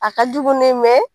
A ka jugu dɛ,